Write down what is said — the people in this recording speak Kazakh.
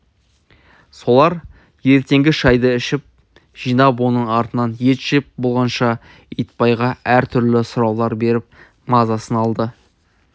солар ертеңгі шайды ішіп жинап оның артынан ет жеп болғанша итбайға әртүрлі сұраулар беріп мазасын алды